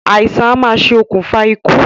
Àìsàn a máa ṣe òkùnfà ikú